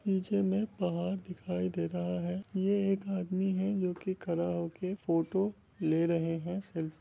निचे मै पहाड़ दिखाई दे रहा है ये एक आदमी है जो के खड़ा होकर फोटो ले रहे हैं सेल्फ---